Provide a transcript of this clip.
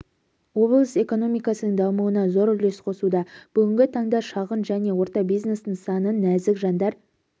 облыс экономикасының дамуына зор үлес қосуда бүгінгі таңда шағын және орта бизнес нысанын нәзік жандар